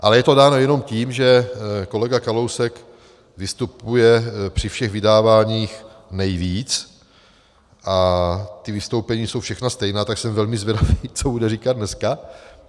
Ale je to dáno jenom tím, že kolega Kalousek vystupuje při všech vydáváních nejvíc a ta vystoupení jsou všechna stejná, tak jsem velmi zvědav, co bude říkat dneska.